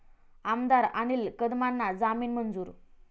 आमदार अनिल कदमांना जामीन मंजूर